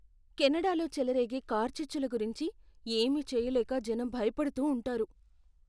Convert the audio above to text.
కెనడాలో చెలరేగే కార్చిచ్చుల గురించి ఏమీ చేయలేక జనం భయపడుతూ ఉంటారు.